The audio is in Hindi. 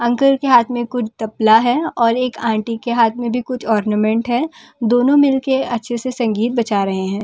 अंकल के हाथ में कुछ तपला है और एक अंटी के हाथ में भी कुछ ऑरनोमेंट है दोनों मिलके अच्‍छे से संगीत बजा रहे हैं।